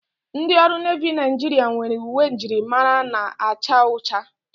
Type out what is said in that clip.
Ndị ọrụ nevi Nigeria nwere uwe njirimara na-acha ụcha.